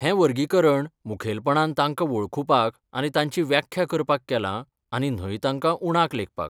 हें वर्गीकरण मुखेलपणान तांकां वळखुपाक आनी तांची व्याख्या करपाक केलां आनी न्हय तांकां उणाक लेखपाक.